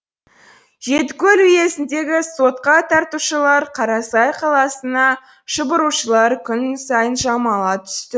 жетікөл уезіндегі сотқа тартушылар қарасай қаласына шұбырушылар күн сайын жамала түсті